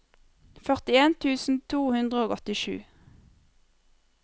førtien tusen to hundre og åttisju